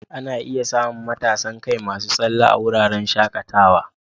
Ana iya samun matasan kai masu tsalle a wuraren shakatawa.